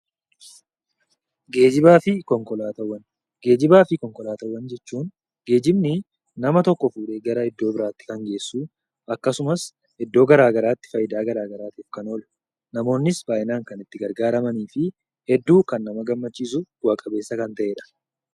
Geejjibaa fi konkolaataawwan jechuun geejjibni nama tokko fuudhee gara iddoo biraatti kan geessu akkasumas iddoo garaagaraatti fayidaa garaagaraaf kan ooludha. Namoonnis baay'inaan kan itti fayyadamanii fi nama gammachiisu bu'aa qabeessa kan ta'edha.